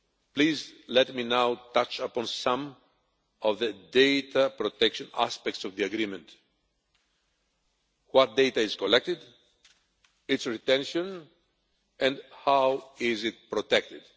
Please let me now touch upon some of the data protection aspects of the agreement what data is collected, its retention and how it is protected.